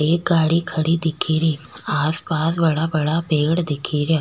एक गाड़ी खडी दिखे री आसपास बड़ा बड़ा पेड़ दिखे रिया।